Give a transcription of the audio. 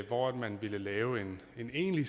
hvor man ville lave en egentlig